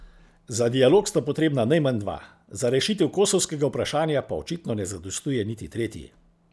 Za dialog sta potrebna najmanj dva, za rešitev kosovskega vprašanja pa očitno ne zadostuje niti tretji.